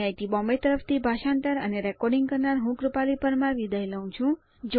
IIT Bombay તરફથી ભાષાંતર કરનાર હું કૃપાલી પરમાર વિદાય લઉં છું